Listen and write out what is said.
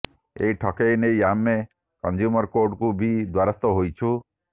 ଏହି ଠକେଇ ନେଇ ଆମେ କଂଜ୍ୟୁମର କୋର୍ଟଙ୍କର ବି ଦ୍ୱାରସ୍ଥ ହୋଇଛୁ